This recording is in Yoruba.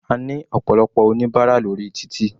A ní ọ̀pọ̀lọpọ̀ oníbárà lórí títì.